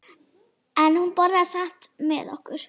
En hún borðaði samt með okkur.